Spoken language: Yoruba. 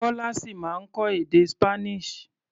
Kọ́lá ṣì máa kọ́ èdè Spanish.